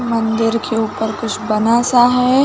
मंदिर के ऊपर कुछ बना -सा हैं ।